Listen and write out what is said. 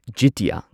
ꯖꯤꯇꯤꯌꯥ